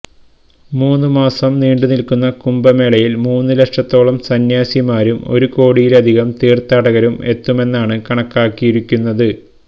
മൂന്നു മാസം നീണ്ടു നില്ക്കുന്ന കുംഭ മേളയില് മൂന്നുലക്ഷത്തോളം സന്യാസിമാരും ഒരുകോടിയിലധികം തീര്ഥാടകരും എത്തുമെന്നാണ് കണക്കാക്കിയിരിക്കുന്നത്